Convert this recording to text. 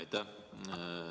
Aitäh!